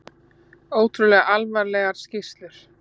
Ótrúlega alvarlegar skýrslur